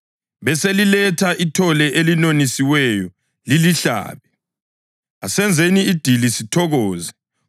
Beseliletha ithole elinonisiweyo lilihlabe. Asenzeni idili sithokoze.